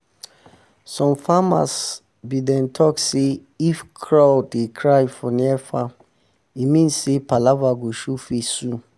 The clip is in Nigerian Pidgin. some farmers be dem talk say if crow dey cry for near farm e mean say palava go show face soon.